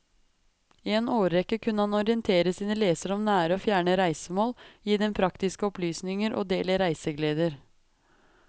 I en årrekke kunne han orientere sine lesere om nære og fjerne reisemål, gi dem praktiske opplysninger og del i reisegleder.